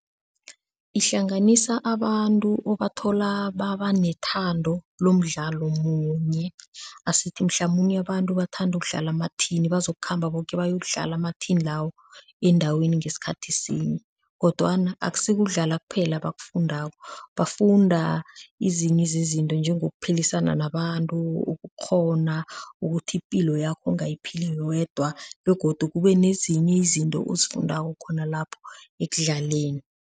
Ihlanganisa abantu obathola baba nethando lomdlalo munye, asithi mhlamunye abantu bathanda ukudlala amathini bazokukhamba boke bayokudlala amathini lawo endaweni ngesikhathi sinye kodwana akusikudlala kuphela abakufundako, bafunda ezinye zezinto njengokuphilisana nabantu, ukukghona ukuthi ipilo yakho awuyiphili wedwa begodu kube nezinye izinto ozifundako khona lapho ekudlaleni.